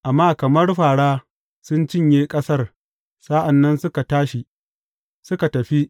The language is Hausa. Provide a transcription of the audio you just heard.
Amma kamar fāra sun cinye ƙasar sa’an nan suka tashi, suka tafi.